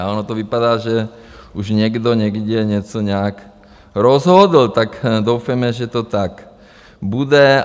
A ono to vypadá, že už někdo někde něco nějak rozhodl, tak doufejme, že to tak bude.